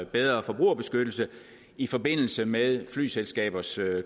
bedre forbrugerbeskyttelse i forbindelse med flyselskabers